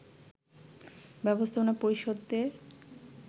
ব্যবস্থাপনা পরিষদের